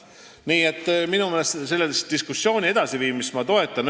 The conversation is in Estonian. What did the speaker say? Nii et selle diskussiooni edasiviimist ma toetan.